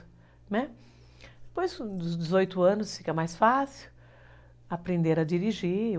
Né, depois dos dezoito anos fica mais fácil aprender a dirigir.